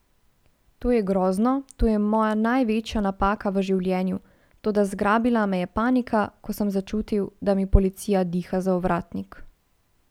To je grozno, to je moja največja napaka v življenju, toda zgrabila me je panika, ko sem začutil, da mi policija diha za ovratnik.